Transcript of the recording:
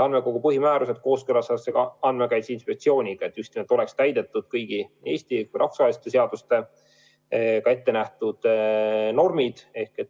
Andmekogu põhimäärus kooskõlastatakse ka Andmekaitse Inspektsiooniga, et oleks täidetud kõigi Eesti ja rahvusvaheliste seadustega ettenähtud normid.